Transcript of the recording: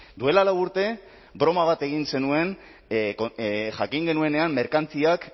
duela lau urte broma bat egin zenuen jakin genuenean merkantziak